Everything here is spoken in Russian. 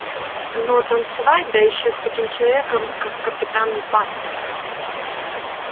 но танцевать да ещё с таким человеком как капитан батлер